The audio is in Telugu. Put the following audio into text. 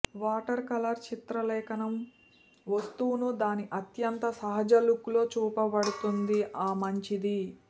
వాటర్కలర్ చిత్రలేఖనం వస్తువును దాని అత్యంత సహజ లుక్ లో చూపబడుతుంది ఆ మంచిది